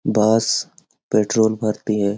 बस पेट्रोल भरती है ।